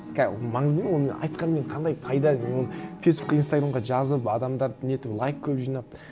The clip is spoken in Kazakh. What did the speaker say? ол маңызды ма оны мен айтқанымен қандай пайда мен оны фейсбукке инстаграмға жазып адамдарды нетіп лайк көп жинап